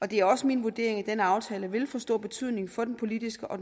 det er også min vurdering at denne aftale vil få stor betydning for den politiske og